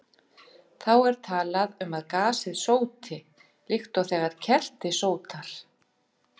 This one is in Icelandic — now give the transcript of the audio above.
Þá er talað um að gasið sóti, líkt og þegar kerti sótar.